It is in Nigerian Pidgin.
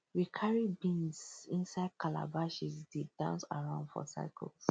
we carry beans inside calabashes dey dance around for circles